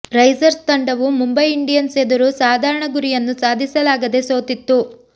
risers ತಂಡವು Mumbai Indians ಎದುರು ಸಾಧಾರಣ ಗುರಿಯನ್ನು ಸಾಧಿಸಲಾಗದೇ ಸೋತಿತ್ತು